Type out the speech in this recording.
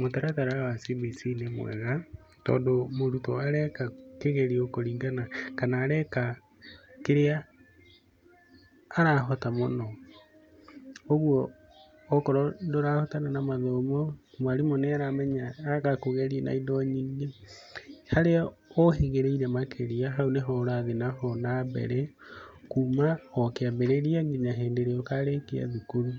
Mũtaratara wa CBC nĩ mwega, tondũ mũrutwo areka kĩgerio kũringana na kĩrĩa arahota mũno. ũguo akorwo ndũrahotana na mathomo, mwarimũ nĩaramenya agakũgeria na indo nyingĩ, harĩa ũhĩgĩrĩire makĩria, hau nĩho ũrathiĩ na mbere. Kuum o kĩambĩrĩria kinya o hĩndĩ ĩrĩa ũkarĩkia thukuru.